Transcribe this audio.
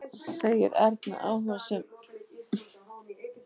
segir Erna áhugasöm.